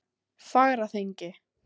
Fagraþingi